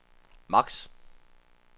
max